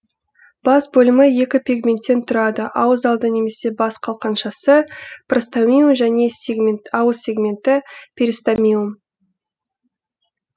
бас бөлімі екі пигменттен тұрады ауыз алды немесе бас қалқаншасы простомиум және ауыз сегменті перистомиум